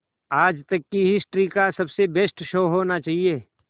आज तक की हिस्ट्री का सबसे बेस्ट शो होना चाहिए